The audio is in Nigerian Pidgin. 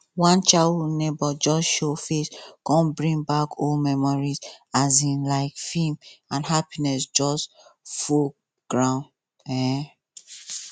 one childhood neighbour just show face come bring back old memories um like film and happinss just full ground um